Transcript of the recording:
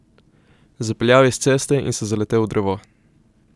Zapeljal je s ceste in se zaletel v drevo.